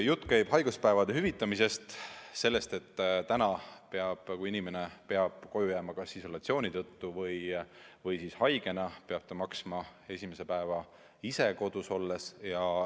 Jutt käib haiguspäevade hüvitamisest, sellest, et täna peab inimene koju jääma kas isolatsiooni tõttu või haigena ning ta peab maksma esimese päeva ise kodus olles.